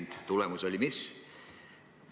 Mis oli tulemus?